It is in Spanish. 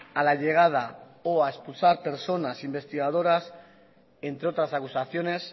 a la llegada o a expulsar personas investigadoras entre otras acusaciones